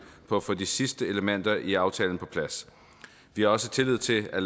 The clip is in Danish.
på at få de sidste elementer i aftalen på plads vi har også tillid til at